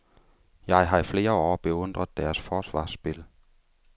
Jeg har i flere år beundret deres forsvarsspil.